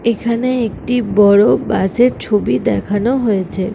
এখানে একটি বড়ো বাস এর ছবি দেখানো হয়েছে ।